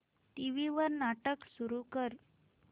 TV वर नाटक सुरू कर